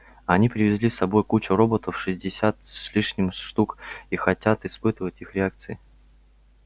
они привезли с собой кучу роботов шестьдесят с лишним штук и хотят испытывать их реакции